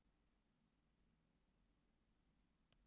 Það er viss stæll yfir því, þó ekki rósóttu svuntuna frá ömmu.